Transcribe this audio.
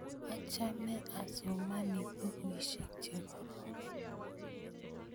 achame asomani bukuisiek chekororon